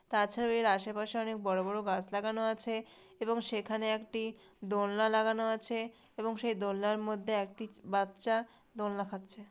তাছারাও এর আশে পাশে অনেক বড় বড় গাছ লাগানো আছে এবং সেখানে একটি দলনা লাগানো আছে এবং সেই দলনার মধ্যে একটি বাচ্ছা দোল খাচ্ছে।